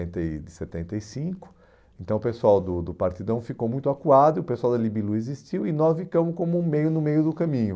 entre de setenta e cinco, então o pessoal do do Partidão ficou muito acuado, e o pessoal da Libilu existiu e nós ficamos como um meio no meio do caminho.